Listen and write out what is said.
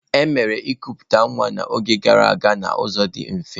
E mere ịkụputa nwa n'oge gara aga n'ụzọ dị mfe.